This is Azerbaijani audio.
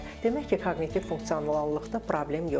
demək ki, koqnitiv funksionallıqda problem yoxdur.